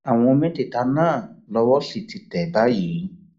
àwọn mẹtẹẹta náà lowó sì ti tẹ báyìí